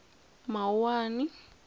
mawuwani